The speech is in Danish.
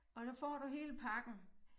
Og der får du hele pakken